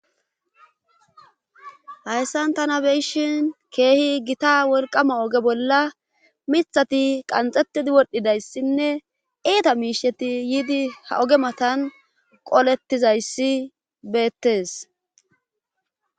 hayssan tana beyishin keehi gita wolqama oge bolla mithati qanxettidi wodhidayssinne eeta miisheti yiidi ha oge matan qolettizayssi beettes